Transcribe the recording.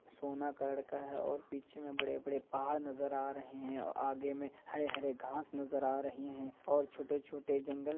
सोना कलर का है और पीछे में बड़े-बड़े पहाड़ नजर आ रहे हैं और आगे में हरे-हरे घास नजर आ रहे हैं और छोटे-छोटे जंगल --